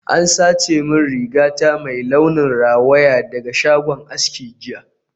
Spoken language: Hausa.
An sace rigata mai launin rawaya daga shagon aski jiya